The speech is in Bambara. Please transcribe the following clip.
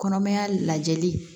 Kɔnɔmaya lajɛli